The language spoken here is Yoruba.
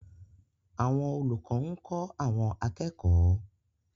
Àwọn olùkọ́ ń kọ́ àwọn akẹ́kọ̀ọ́